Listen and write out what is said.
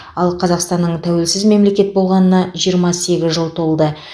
ал қазақстанның тәуелсіз мемлекет болғанына жиырма сегіз жыл толды